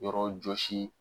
Yɔrɔ jɔsi